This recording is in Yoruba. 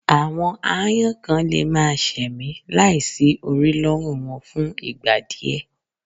Àwọn aáyán kan lè máa ṣẹ̀mí láì sí orí lọ́rùn wọn fún ìgbà díẹ̀